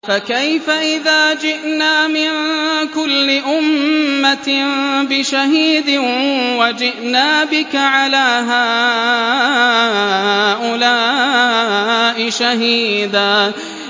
فَكَيْفَ إِذَا جِئْنَا مِن كُلِّ أُمَّةٍ بِشَهِيدٍ وَجِئْنَا بِكَ عَلَىٰ هَٰؤُلَاءِ شَهِيدًا